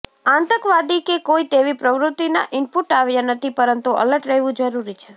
આતંકવાદી કે કોઇ તેવી પ્રવૃતિના ઈનપુટ આવ્યા નથી પરંતુ એલર્ટ રહેવુ જરુરી છે